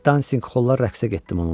Dansinqolla rəqsə getdim onunla.